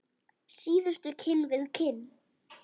Síðustu kinn við kinn.